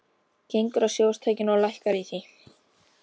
Gengur að sjónvarpstækinu og lækkar í því.